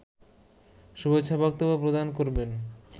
শুভেচ্ছা বক্তব্য প্রদান করবেন